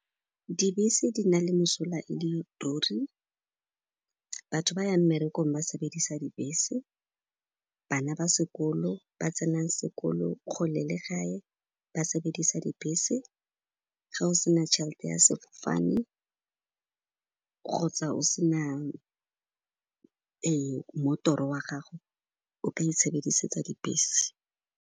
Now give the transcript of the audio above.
Dibese di na le mosola e le ruri. Batho ba yang mmerekong ba sebedisa dibese, bana ba sekolo ba tsenang sekolo kgole le gae ba sebedisa dibese. Ga o se na tšhel'te ya sefofane kgotsa o se na ee, mmotoro wa gago o ka itshebedisetsa dibese.